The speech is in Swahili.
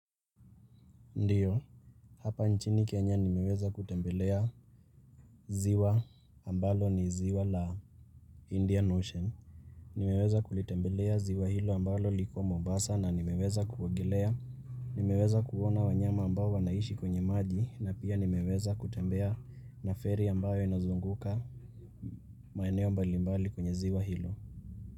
Ndiyo, hapa nchini Kenya nimeweza kutembelea ziwa ambalo ni ziwa la Indian Ocean. Nimeweza kulitembelea ziwa hilo ambalo lipo Mombasa na nimeweza kuogelea. Nimeweza kuona wanyama ambao wanaishi kwenye maji na pia nimeweza kutembea na ferry ambayo inazunguka. Maeneo mbalimbali kwenye ziwa hilo.